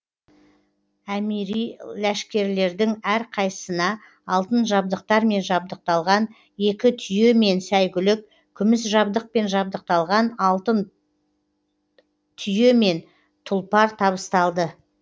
әмири ләшкерлердің әрқайсысына алтын жабдықтармен жабдықталған екі түйе мен сәйгүлік күміс жабдықпен жабдықталған алтын түйе мен тұлпар табысталды